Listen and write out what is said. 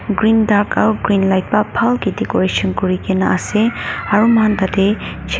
green dark aru green light pa bhalke decoration kuri ke na ase aru moikhan tah teh chair --